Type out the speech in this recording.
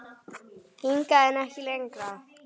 Hingað, en ekki lengra.